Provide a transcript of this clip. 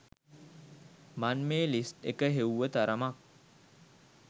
මන් මේ ලිස්ට් එක හෙව්ව තරමක්